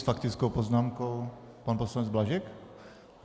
S faktickou poznámkou pan poslanec Blažek?